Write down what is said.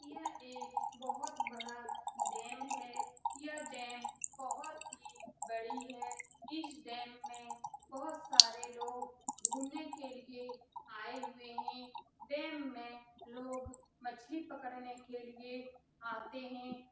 यह एक बहोत बड़ा डैम है यह डैम बहोत ही बड़ी है इस डैम में बहोत सारे लोग घुमने के लिए आये हुए है डैम में लोग मछली पकड़ने के लिए आते है |